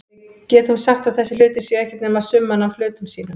Við getum sagt að þessir hlutir séu ekkert nema summan af hlutum sínum.